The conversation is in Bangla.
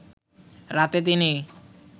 রাতে তিনি